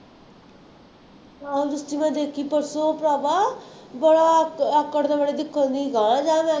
ਹਾਂ ਜੱਸੀ ਮੈਂ ਦੇਖੀ ਪਰਸੋਂ ਭਰਾਵਾ, ਬੜਾ ਆਕ ਆਕੜ ਦੇ ਵੇਲੇ